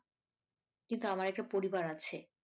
কিন্তু আমার একটা পরিবার আছে।